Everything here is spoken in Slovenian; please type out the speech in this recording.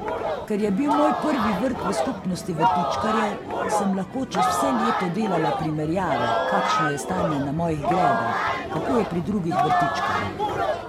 Ker je bil moj prvi vrt v skupnosti vrtičkarjev, sem lahko čez vse leto delala primerjave, kašno je stanje na mojih gredah, kako je pri drugih vrtičkarjih.